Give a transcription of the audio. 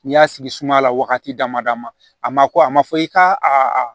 N'i y'a sigi sumala wagati dama dama a ma ko a ma fɔ i k'a a